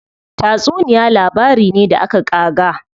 Tatsuniya labari ne da aka ƙaga.